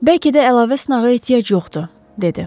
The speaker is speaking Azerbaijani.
“Bəlkə də əlavə sınağa ehtiyac yoxdur”, dedi.